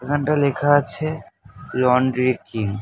এখনটায় লেখা আছে laundry king